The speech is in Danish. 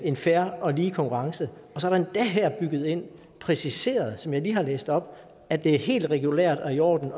en fair og lige konkurrence og så er det endda her bygget ind og præciseret som jeg lige har læst op at det er helt regulært og i orden